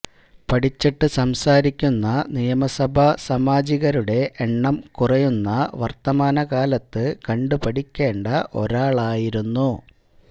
പഠിച്ചിട്ടു സംസാരിക്കുന്ന നിയമസഭാ സാമാജികരുടെ എണ്ണം കുറയുന്ന വര്ത്തമാനകാലത്ത് കണ്ടുപഠിക്കേണ്ട ഒരാളായിരുന്നു